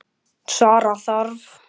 Svara þarf.